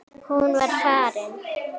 Hún var farin.